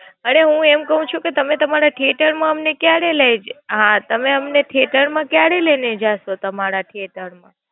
અરે હું એમ ક્વ છું તમે તમારા theater માં અમને કયારે લય હા તમે અમને theater માં કયારે લય ને જાસો તમારા theater?